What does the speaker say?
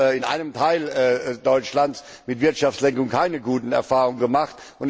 Wir haben in einem Teil Deutschlands mit Wirtschaftslenkung keine guten Erfahrungen gemacht.